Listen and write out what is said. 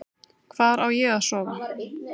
Hvar á ég að sofa?